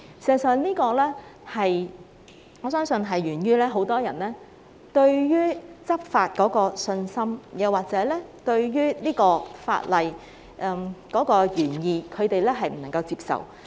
事實上，我相信這是源於很多人對執法欠缺信心，或者他們不能接受法例的原意。